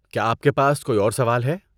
کیا آپ کے پاس کوئی اور سوال ہے؟